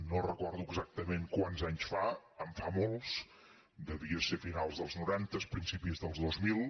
no recordo exactament quants anys fa en fa molts devia ser a finals dels noranta principis dels dos mil